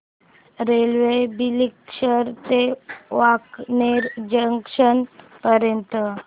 railway Bileshwar ते Wankaner junction पर्यंत